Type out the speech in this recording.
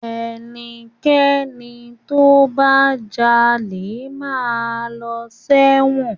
Ẹnikẹ́ni tó bá jalè máa lọ sẹ́wọ̀n.